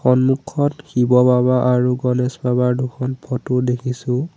সন্মুখত শিৱ বাবা আৰু গণেশ বাবাৰ দুখন ফটো দেখিছোঁ।